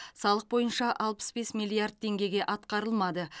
салық бойынша алпыс бес миллиард теңгеге атқарылмады